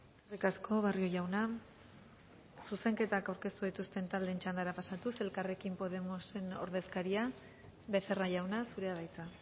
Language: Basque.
eskerrik asko barrio jauna zuzenketak aurkeztu dituzten taldeen txandara pasatuz elkarrekin podemosen ordezkaria becerra jauna zurea da hitza